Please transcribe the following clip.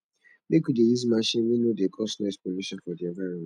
make we dey use machine wey no dey cause noise polution for di environment